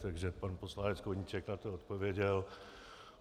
Takže pan poslanec Koníček na to odpověděl.